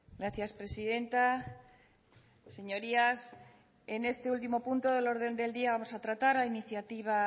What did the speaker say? gracias presidenta señorías en este último punto del orden del día vamos a tratar la iniciativa